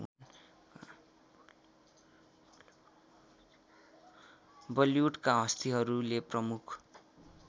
बलिवुडका हस्तीहरूले प्रमुख